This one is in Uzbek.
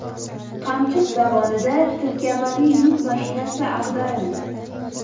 Qamchiq dovonida tirkamali yuk mashinasi ag‘darildi.